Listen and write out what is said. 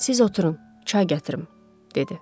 Siz oturun, çay gətirim, dedi.